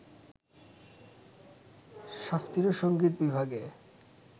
শাস্ত্রীয়সংগীত বিভাগে